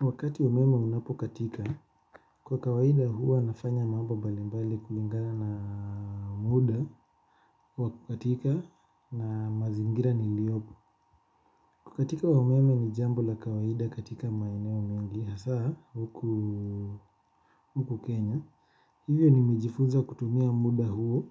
Wakati umeme unapokatika, kwa kawaida huwa nafanya mambo mbalimbali kulingana na muda wa kukatika na mazingira nilio. Kukatika wa umeme ni jambo la kawaida katika maeneo mengi hasa huku Kenya. Hivyo nimejifunza kutumia muda huu